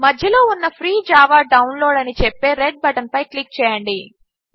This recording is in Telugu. మధ్యలో ఉన్న ఫ్రీ జావా డౌన్లోడ్ అని చెప్పే రెడ్ బటన్పై క్లిక్ చేయండి